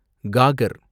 காகர்